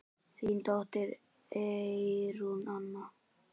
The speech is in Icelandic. Þín dóttir, Eyrún Anna.